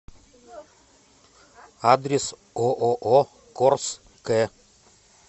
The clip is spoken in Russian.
адрес ооо корс к